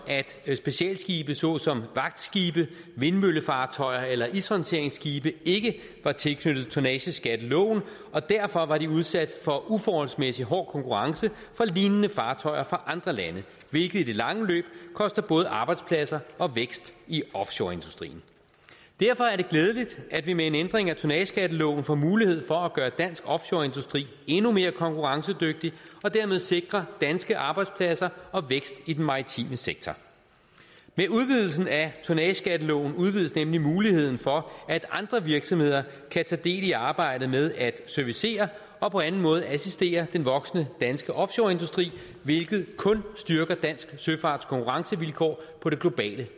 at specialskibe såsom vagtskibe vindmøllefartøjer eller ishåndteringsskibe ikke var tilknyttet tonnageskatteloven og derfor var de udsat for uforholdsmæssig hård konkurrence fra lignende fartøjer fra andre lande hvilket i det lange løb koster både arbejdspladser og vækst i offshoreindustrien derfor er det glædeligt at vi med en ændring af tonnageskatteloven får mulighed for at gøre dansk offshoreindustri endnu mere konkurrencedygtig og dermed sikre danske arbejdspladser og vækst i den maritime sektor med udvidelsen af tonnageskatteloven udvides nemlig muligheden for at andre virksomheder kan tage del i arbejdet med at servicere og på anden måde assistere den voksende danske offshoreindustri hvilket kun styrker danske søfarts konkurrencevilkår på det globale